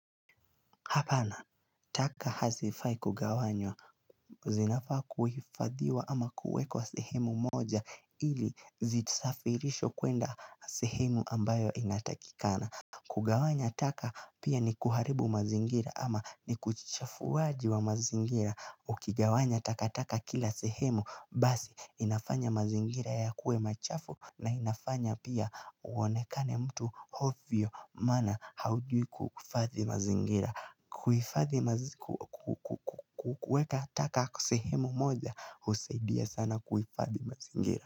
Hapana, taka hazifai kugawanywa, zinafaa kuhifadhiwa ama kuwekwa sehemu moja ili zisafirishwe kwenda sehemu ambayo inatakikana kugawanya taka pia ni kuharibu mazingira ama ni uchafuaji wa mazingira Ukigawanya taka taka kila sehemu basi inafanya mazingira ya kue machafu na inafanya pia uonekane mtu ovyo maana haujui kuhifadhi mazingira kuweka taka kwa sehemu moja husaidia sana kuhifadhi mazingira.